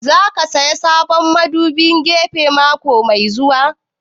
Za ka saya sabon madubin gefe mako mai zuwa?